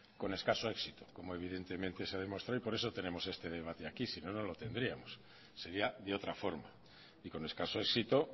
con escaso éxito como evidentemente se demostró y por eso tenemos este debate aquí si no no lo tendríamos sería de otra forma y con escaso éxito